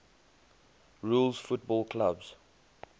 rules football clubs